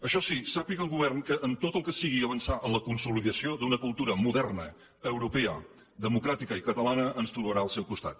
això sí sàpiga el govern que en tot el que sigui avançar en la consolidació d’una cultura moderna europea democràtica i catalana ens trobarà al seu costat